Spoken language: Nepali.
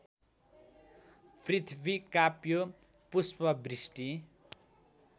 पृथ्वी काप्यो पुष्पवृष्टि